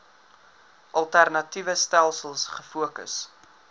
alternatiewe stelsels gefokus